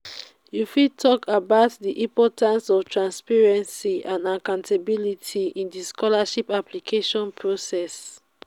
you fit talk about di importance of transparency and accountability in di scholarships application process.